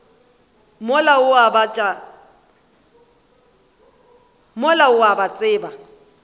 mola o a ba tseba